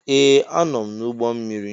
Ee! Anọ m n'ụgbọ mmiri.